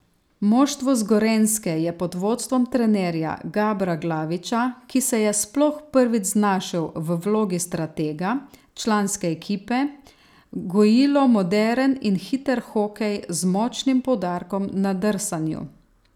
Moštvo z Gorenjske je pod vodstvom trenerja Gabra Glaviča, ki se je sploh prvič znašel v vlogi stratega članske ekipe, gojilo moderen in hiter hokej, z močnim poudarkom na drsanju.